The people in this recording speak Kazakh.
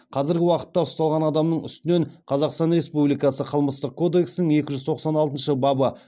қазіргі уақытта ұсталған адамның үстінен қазақстан республикасы қылмыстық кодексінің екі жүз тоқсан алтыншы бабы